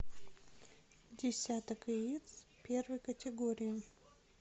десяток яиц первой категории